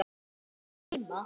Var hana að dreyma?